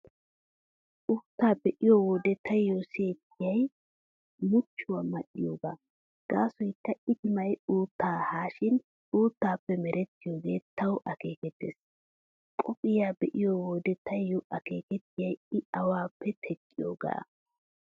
Uuttaa be'iyo wode taayyo siyettiyay muchchuwaa mal"iyoogaa gaasoykka itimay uuttaa haashin uuttappe merettiyoogee tawu akeekettees. Qophiyaa be'iyo wode taayyo akeekettiyay I awaappe teqqiyoogaa.